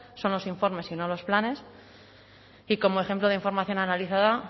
son los informes y no los planes y como ejemplo de información analizada